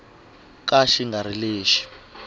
ka xi nga ri lexi